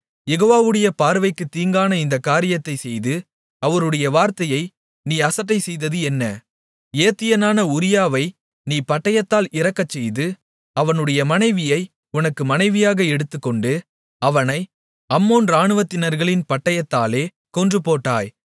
யெகோவாவுடைய பார்வைக்குத் தீங்கான இந்தக் காரியத்தைச் செய்து அவருடைய வார்த்தையை நீ அசட்டை செய்தது என்ன ஏத்தியனான உரியாவை நீ பட்டயத்தால் இறக்கச்செய்து அவனுடைய மனைவியை உனக்கு மனைவியாக எடுத்துக்கொண்டு அவனை அம்மோன் இராணுவத்தினர்களின் பட்டயத்தாலே கொன்றுபோட்டாய்